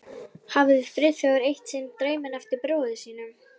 hafði Friðþjófur eitt sinn dreyminn eftir bróður sínum.